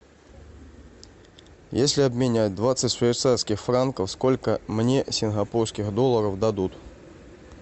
если обменять двадцать швейцарских франков сколько мне сингапурских долларов дадут